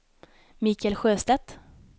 Mikael Sjöstedt